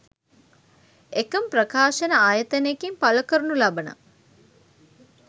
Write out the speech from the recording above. එකම ප්‍රකාශන ආයතනයකින් පළ කරනු ලබන